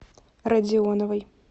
радионовой